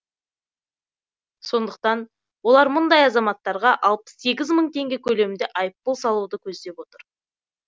сондықтан олар мұндай азаматтарға алпыс сегіз мың теңге көлемінде айыппұл салуды көздеп отыр